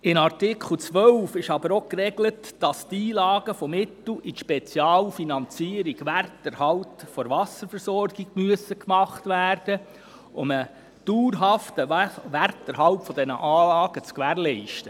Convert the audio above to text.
In Artikel 12 ist aber auch geregelt, dass Einlagen in die Spezialfinanzierung der Wasserversorgung geleistet werden müssen, um einen dauerhaften Werterhalt der Anlagen zu gewährleisten.